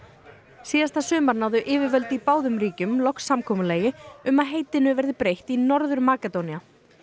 síðasta sumar náðu yfirvöld í báðum ríkjum loks samkomulagi um að heitinu verði breytt í Norður Makedónía